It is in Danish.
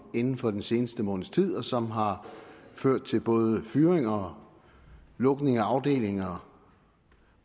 inden for den seneste måneds tid og som har ført til både fyringer og lukning af afdelinger